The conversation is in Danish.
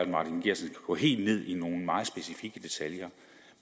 martin geertsen kan gå helt ned i nogle meget specifikke detaljer